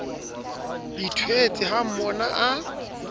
ithwetse ha o mmona a